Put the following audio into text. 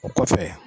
O kɔfɛ